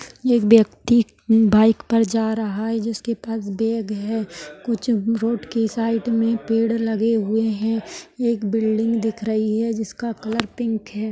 एक व्यक्ती बाइक पर जा रहा है जिसके पास बैग है कुछ रोड के साइड में पेड़ लगे हुए हैं एक बिल्डिंग दिख रही है जिसका कलर पिंक है।